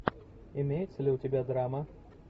имеется ли у тебя драма